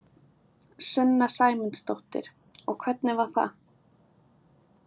Sunna Sæmundsdóttir: Og hvernig var það?